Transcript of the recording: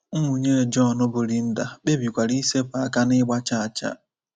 Nwunye John, bụ́ Linda, kpebikwara isepụ aka n’ịgba chaa chaa.